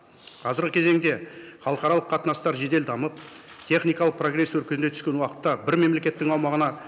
қазіргі кезеңде халықаралық қатынастар жедел дамып техникалық прогресс өркендей түскен уақытта бір мемлекеттің